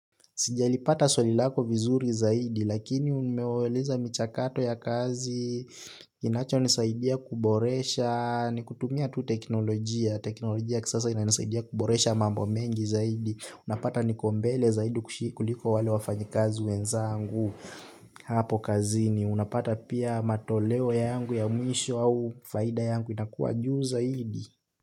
Sijalipata swali lako vizuri zaidi lakini umeuliza michakato ya kazi. Kinachonisaidia kuboresha ni kutumia tu teknolojia. Teknolojia ya kisasa inanisaidia kuboresha mambo mengi zaidi. Unapata niko mbele zaidi kuliko wale wafanyikazi wenzangu hapo kazini. Unapata pia matoleo yangu ya mwisho au faida yangu inakuwa juu zaidi.